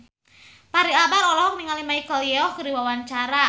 Fachri Albar olohok ningali Michelle Yeoh keur diwawancara